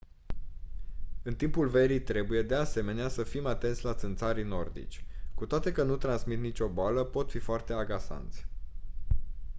în timpul verii trebuie de asemenea să fiți atenți la țânțarii nordici cu toate că nu transmit nicio boală pot fi foarte agasanți